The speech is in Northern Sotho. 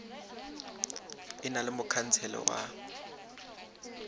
e na le mokhansele wa